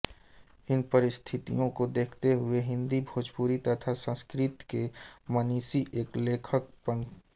इन परिस्थितियो को देखते हुए हिन्दी भोजपुरी तथा संस्कृत के मनीषी एवं लेखक पँ